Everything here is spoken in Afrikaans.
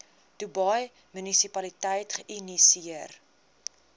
dubai munisipaliteit geïnisieer